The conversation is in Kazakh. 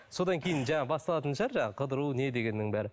содан кейін жаңа басталатын шығар жаңа қыдыру не дегеннің бәрі